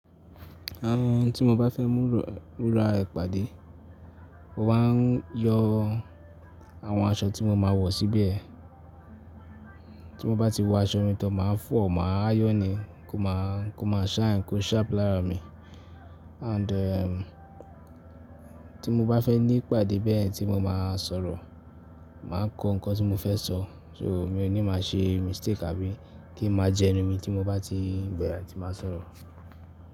Àwọn tí mo bá fẹ́ mú rọ̀ rù rá ìpàdé, mo máa ń yọ àwọn aṣọ tí mo máa wọ̀ síbẹ̀. Tí mo bá ti wọ aṣọ mi tọ máa fọ̀, máa ayon e kó máa, kó máa shine, kó sharp lára mi. And eh tí mo bá fẹ́ ní ìpàdé bẹ́ẹ̀ tí mo máa sọ̀rọ̀, màá kọ nǹkan tí mo fẹ́ sọ. So mi ò ní máa ṣe mistake àbí kí ń máa jẹnu mi tí mo bá ti bẹ̀rẹ̀ tí máa sọ̀rọ̀.